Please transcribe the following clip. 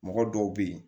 Mɔgɔ dɔw bɛ yen